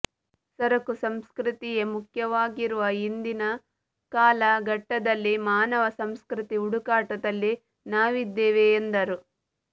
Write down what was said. ಸರಕು ಸಂಸ್ಕೃತಿಯೇ ಮುಖ್ಯವಾಗಿರುವ ಇಂದಿನ ಕಾಲ ಘಟ್ಟದಲ್ಲಿ ಮಾನವ ಸಂಸ್ಕೃತಿ ಹುಡುಕಾಟದಲ್ಲಿ ನಾವಿದ್ದೇವೆ ಎಂದರು